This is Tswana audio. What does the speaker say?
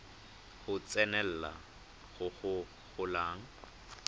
go tsenelela go go golang